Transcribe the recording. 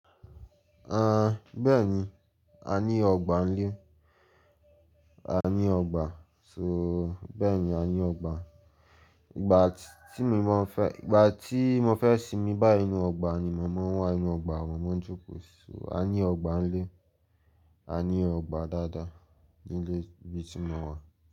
Bẹ́ẹ̀ni, a ní ọgbà ń lé. A ní ọgbà, so bẹ́ẹ̀ni a ní ọgbà. Ìgbà tí mi fẹ́, ìgbà tí mo fẹ́ sinmi báyi inú ọgbà ni mo mọn wà inú ọgbà ni mo mọ ń jókòó sí, a ní ọgbà ń lé, a ní ọgbà dáadáa ní ilé ibi tí mo wà.